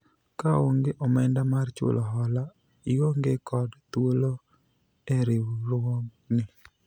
kaonge omenda mar chulo hola , ionge kod thuolo e riwruogni